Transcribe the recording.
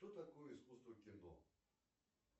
что такое искусство кино